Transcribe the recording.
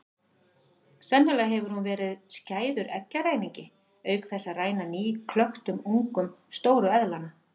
Sennilega hefur hún verið skæður eggjaræningi auk þess að ræna nýklöktum ungum stóru eðlanna.